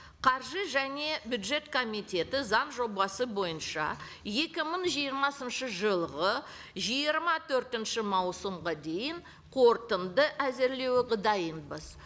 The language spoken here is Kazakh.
қаржы және бюджет комитеті заң жобасы бойынша екі мың жиырмасыншы жылғы жиырма төртінші маусымға дейін қорытынды әзірлеуге дайынбыз